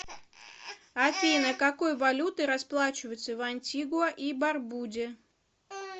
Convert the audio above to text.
афина какой валютой расплачиваются в антигуа и барбуде